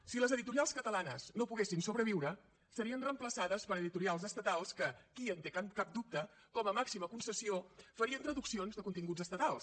si les editorials catalanes no poguessin sobreviure serien reemplaçades per editorials estatals que qui en té cap dubte com a màxima concessió farien traduccions de continguts estatals